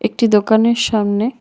একটি দোকানের সামনে--